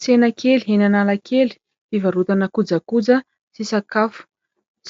Tsena kely eny Analakely fivarotana kojakoja sy sakafo.